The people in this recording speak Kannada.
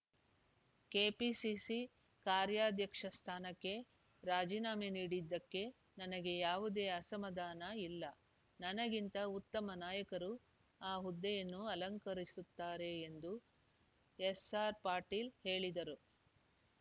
ಕೆಪಿಸಿಸಿ ಕಾರ್ಯಾಧ್ಯಕ್ಷ ಸ್ಥಾನಕ್ಕೆ ರಾಜೀನಾಮೆ ನೀಡಿದ್ದಕ್ಕೆ ನನಗೆ ಯಾವುದೇ ಅಸಮಾಧಾನ ಇಲ್ಲ ನನಗಿಂತ ಉತ್ತಮ ನಾಯಕರು ಆ ಹುದ್ದೆಯನ್ನು ಅಲಂಕರಿಸುತ್ತಾರೆ ಎಂದು ಎಸ್‌ಆರ್‌ ಪಾಟೀಲ್‌ ಹೇಳಿದರು